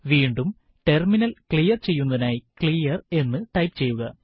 വീണ്ടും terminal clear ചെയ്യുന്നതിനായി clear എന്ന് ടൈപ്പ് ചെയ്യുക